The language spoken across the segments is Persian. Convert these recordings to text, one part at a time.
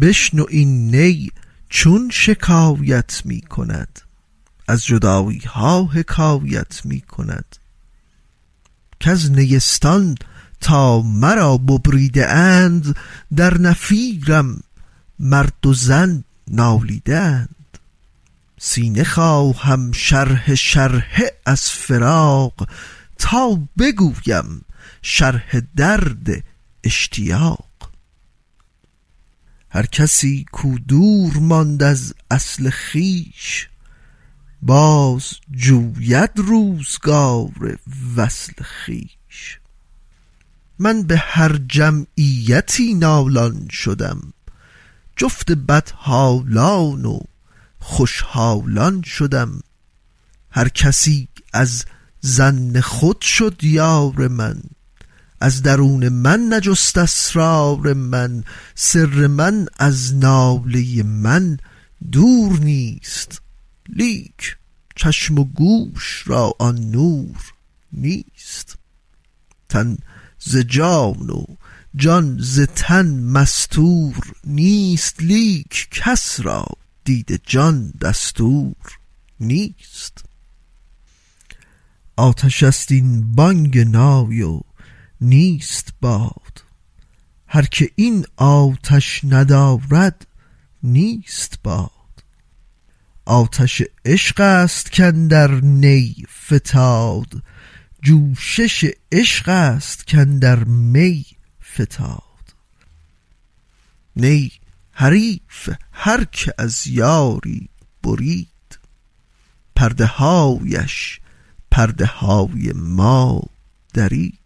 بشنو این نی چون شکایت می کند از جدایی ها حکایت می کند کز نیستان تا مرا ببریده اند در نفیرم مرد و زن نالیده اند سینه خواهم شرحه شرحه از فراق تا بگویم شرح درد اشتیاق هر کسی کو دور ماند از اصل خویش باز جوید روزگار وصل خویش من به هر جمعیتی نالان شدم جفت بدحالان و خوش حالان شدم هر کسی از ظن خود شد یار من از درون من نجست اسرار من سر من از ناله من دور نیست لیک چشم و گوش را آن نور نیست تن ز جان و جان ز تن مستور نیست لیک کس را دید جان دستور نیست آتش است این بانگ نای و نیست باد هر که این آتش ندارد نیست باد آتش عشق است کاندر نی فتاد جوشش عشق است کاندر می فتاد نی حریف هر که از یاری برید پرده هایش پرده های ما درید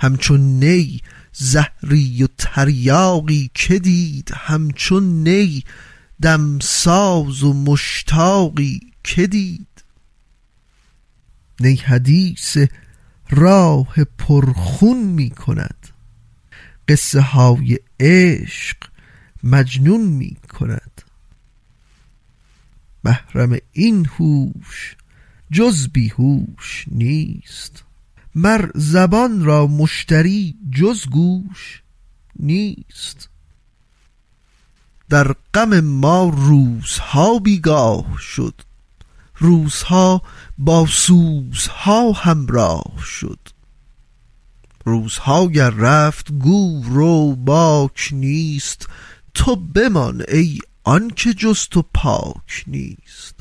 همچو نی زهری و تریاقی که دید همچو نی دمساز و مشتاقی که دید نی حدیث راه پر خون می کند قصه های عشق مجنون می کند محرم این هوش جز بی هوش نیست مر زبان را مشتری جز گوش نیست در غم ما روزها بیگاه شد روزها با سوزها همراه شد روزها گر رفت گو رو باک نیست تو بمان ای آنکه چون تو پاک نیست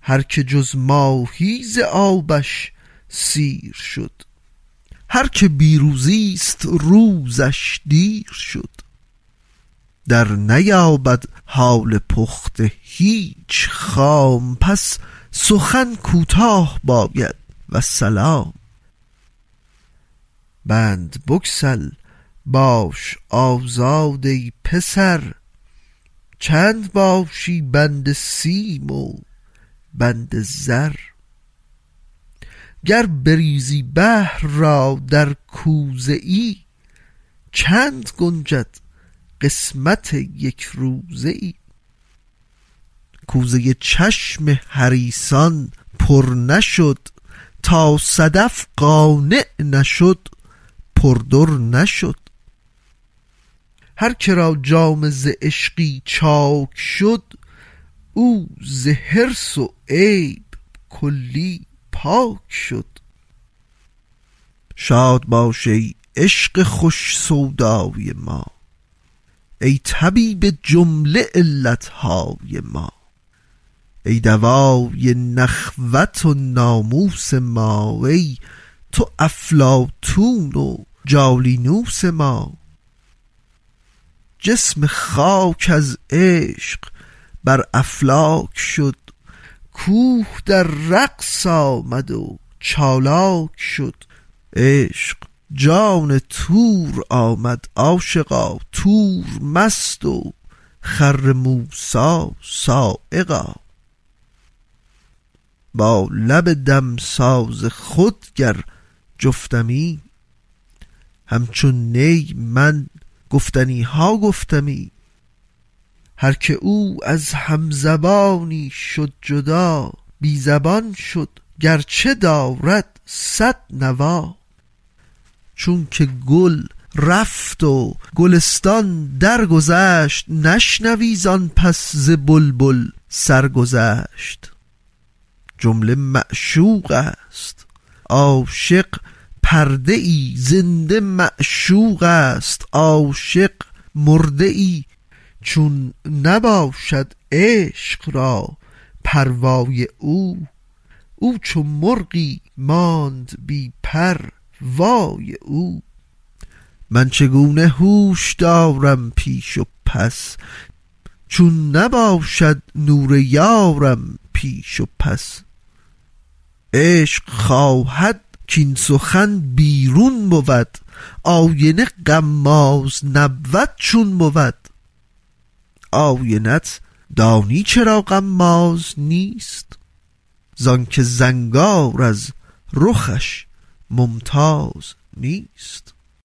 هر که جز ماهی ز آبش سیر شد هر که بی روزی ست روزش دیر شد در نیابد حال پخته هیچ خام پس سخن کوتاه باید والسلام بند بگسل باش آزاد ای پسر چند باشی بند سیم و بند زر گر بریزی بحر را در کوزه ای چند گنجد قسمت یک روزه ای کوزه چشم حریصان پر نشد تا صدف قانع نشد پر در نشد هر که را جامه ز عشقی چاک شد او ز حرص و عیب کلی پاک شد شاد باش ای عشق خوش سودای ما ای طبیب جمله علت های ما ای دوای نخوت و ناموس ما ای تو افلاطون و جالینوس ما جسم خاک از عشق بر افلاک شد کوه در رقص آمد و چالاک شد عشق جان طور آمد عاشقا طور مست و خر موسیٰ‏ صعقا با لب دمساز خود گر جفتمی همچو نی من گفتنی ها گفتمی هر که او از هم زبانی شد جدا بی زبان شد گر چه دارد صد نوا چون که گل رفت و گلستان درگذشت نشنوی زآن پس ز بلبل سرگذشت جمله معشوق است و عاشق پرده ای زنده معشوق است و عاشق مرده ای چون نباشد عشق را پروای او او چو مرغی ماند بی پر وای او من چگونه هوش دارم پیش و پس چون نباشد نور یارم پیش و پس عشق خواهد کاین سخن بیرون بود آینه غماز نبود چون بود آینه ت دانی چرا غماز نیست زآن که زنگار از رخش ممتاز نیست